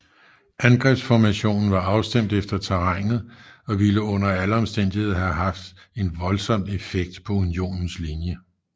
Angrebsformationen var afstemt efter terrænet og ville under alle omstændigheder have haft en voldsom effekt på Unionens linje